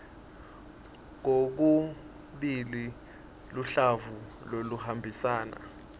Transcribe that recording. kokubili luhlavu loluhambisana